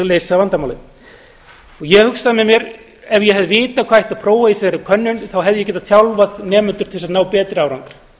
leysa vandamálið ég hugsaði mér ef ég hefði vitað hvað ætti að prófa í þessari könnun hefði ég getað þjálfað nemendur til þess að ná betri árangri